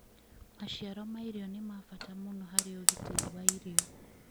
Maciaro ma irio nĩ ma bata mũno harĩ ũgitĩri wa irio.